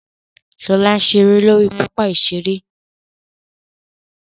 Ṣọlá ń ṣeré lórí pápá ìṣeré